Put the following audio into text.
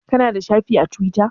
Ka na da shafi a Tiwita?